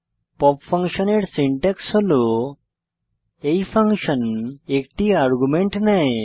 pop ফাংশনের syntax হল এই ফাংশন একটি আর্গুমেন্ট নেয়